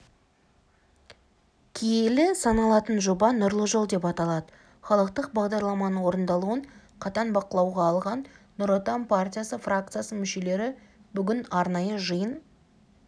келелі саналатын жоба нұрлы жол деп аталады халықтық бағдарламаның орындалуын қатаң бақылауға алған нұр отан партиясы фракциясының мүшелері бүгін арнайы жиын